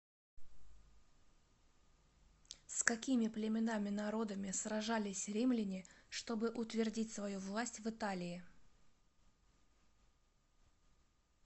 с какими племенами народами сражались римляне чтобы утвердить свою власть в италии